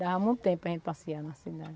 Dava muito tempo para a gente passear na cidade.